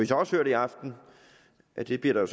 så også hørt i aften at det bliver der